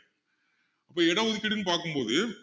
இப்போ இட ஒதுக்கீடுன்னு பார்க்கும் போது